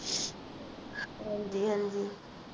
ਹਾਂਜੀ-ਹਾਂਜੀ